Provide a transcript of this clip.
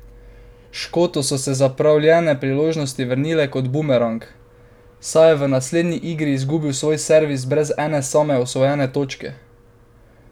Škotu so se zapravljene priložnosti vrnile kot bumerang, saj je v naslednji igri izgubil svoj servis brez ene same osvojene točke!